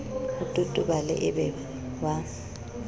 o totobale e be wa